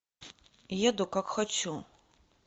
еду как хочу